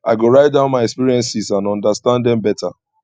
i go write down my experiences to understand them better